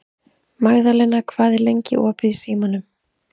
Magðalena, hvað er lengi opið í Símanum?